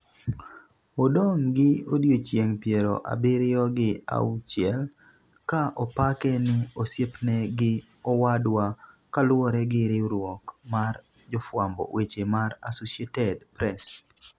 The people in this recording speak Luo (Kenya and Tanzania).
odong' gi odiechienge piero abiriyo gi auchiel, ka opake ni 'osiepne' gi 'owadwa' kaluwore gi riwruok mar jofwamb weche mar Associated Press